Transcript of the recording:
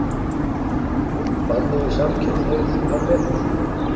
Banni við samkynhneigð aflétt